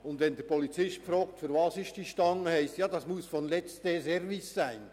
Wenn nun der Polizist fragt, wozu diese Stange gut sei, heisst es: «Ja das muss vom letzten Service sein.»